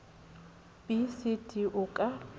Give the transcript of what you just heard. b c d o ka